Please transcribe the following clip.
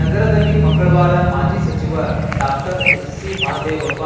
ನಗರದಲ್ಲಿ ಮಂಗಳವಾರ ಮಾಜಿ ಸಚಿವ ಡಾಕ್ಟರ್ ಎಚ್‌ಸಿ ಮಹದೇವಪ್ಪ